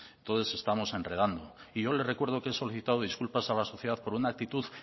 entonces estamos enredando y yo le recuerdo que he solicitado disculpas a la sociedad por una actitud